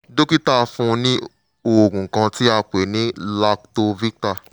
dókítà fún un ní oògùn kan tí a pè ní lactovita